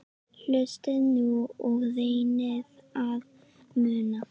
Hlustiði nú og reynið að muna